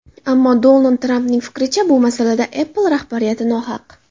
Ammo Donald Trampning fikricha, bu masalada Apple rahbariyati nohaq.